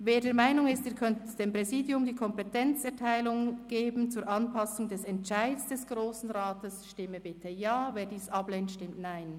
Wer der Meinung ist, er könnte dem Präsidium die Kompetenz erteilen zur Anpassung des Entscheids des Grossen Rats, stimme bitte Ja, wer dies ablehnt, stimmt Nein.